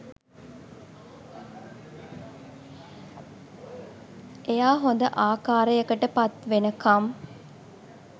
එයා හොඳ ආකාරයකට පත්වෙනකම්